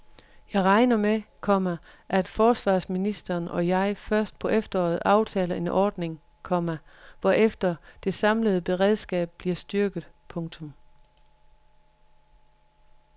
Jeg regner med, komma at forsvarsministeren og jeg først på efteråret aftaler en ordning, komma hvorefter det samlede beredskab bliver styrket. punktum